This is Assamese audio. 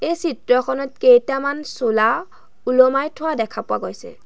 এই চিত্ৰখনত কেইটামান চোলা ওলোমাই থোৱা দেখা পোৱা গৈছে।